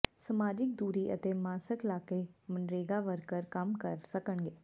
ਸਮਾਜਿਕ ਦੂਰੀ ਅਤੇ ਮਾਸਕ ਲਾਕੇ ਮਨਰੇਗਾ ਵਰਕਰ ਕੰਮ ਕਰ ਸਕਣਗੇ